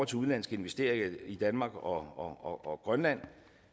til udenlandske investeringer i danmark og og grønland